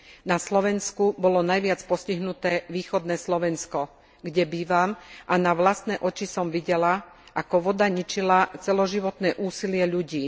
Na Slovensku bolo najviac postihnuté východné Slovensko, kde bývam, a na vlastné oči som videla, ako voda ničila celoživotné úsilie ľudí.